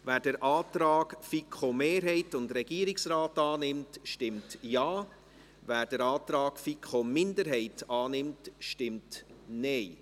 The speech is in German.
Wer den Antrag der FiKo-Mehrheit und des Regierungsrates annimmt, stimmt Ja, wer den Antrag der FiKo-Minderheit annimmt, stimmt Nein.